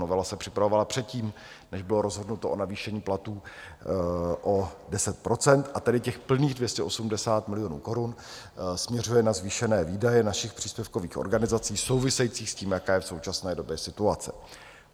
Novela se připravovala předtím, než bylo rozhodnuto o navýšení platů o 10 %, a tedy těch plných 280 milionů korun směřuje na zvýšené výdaje našich příspěvkových organizací souvisejících s tím, jaká je v současné době situace.